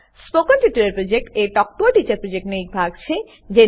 spoken tutorial project talk to a teacher પ્રોજેક્ટનો એક ભાગ છે